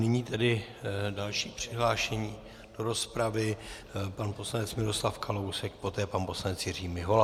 Nyní tedy další přihlášení do rozpravy - pan poslanec Miroslav Kalousek, poté pan poslanec Jiří Mihola.